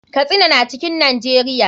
Katsina na cikin najeria.